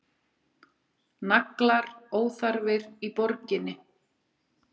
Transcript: Naglar óþarfir í borginni